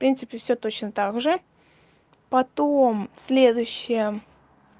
принципе всё точно так же потом следующая